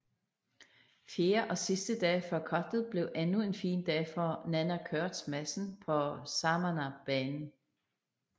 Fjerde og sidste dag før cuttet blev endnu en fin dag for Nanna Koerstz Madsen på Samanah banen